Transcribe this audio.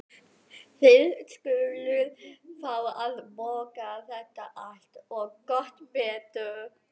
Þið skuluð fá að borga þetta allt. og gott betur!